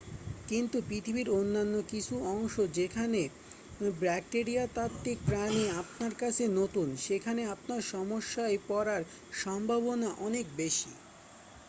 কিন্তু পৃথিবীর অন্যান্য কিছু অংশ যেখানে ব্যাকটেরিয়াতাত্ত্বিক প্রাণী আপনার কাছে নতুন সেখানে আপনার সমস্যায় পড়ার সম্ভাবনা অনেক বেশি